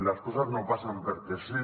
les coses no passen perquè sí